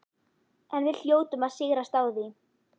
En við hljótum að sigrast á því.